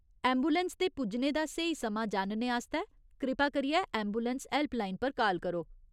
Ambulance दे पुज्जने दा स्हेई समां जानने आस्तै कृपा करियै ऐंबुलैंस हैल्पलाइन पर काल करो।